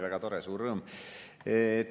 Väga tore, suur rõõm!